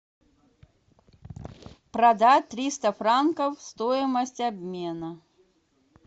продать триста франков стоимость обмена